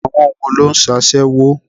Àwọn wo ló ń sasewo?